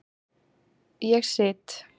Ég sit.